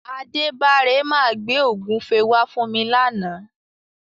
Adébára máa gbé ògúnfe wá fún mi làna.